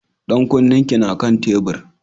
Ɗan kunnen ki na kan tebur.